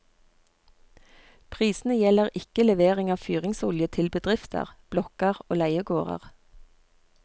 Prisene gjelder ikke levering av fyringsolje til bedrifter, blokker og leiegårder.